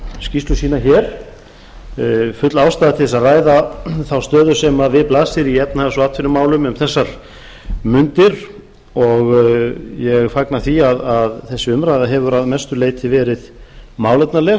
skýrslu sína hér full ástæða er til þess að ræða þá stöðu sem við blasir í efnahags og atvinnumálum um þessar mundir og ég fagna því að þessi umræða hefur að mestu leyti verið málefnaleg